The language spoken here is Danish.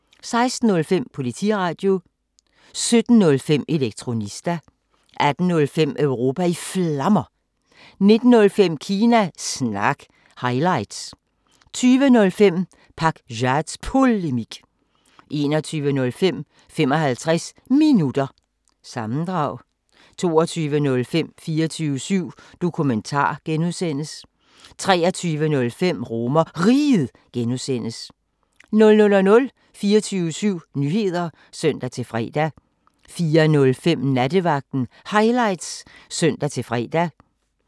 16:05: Politiradio 17:05: Elektronista 18:05: Europa i Flammer 19:05: Kina Snak – highlights 20:05: Pakzads Polemik 21:05: 55 Minutter – sammendrag 22:05: 24syv Dokumentar (G) 23:05: RomerRiget (G) 00:00: 24syv Nyheder (søn-fre) 04:05: Nattevagten Highlights (søn-fre)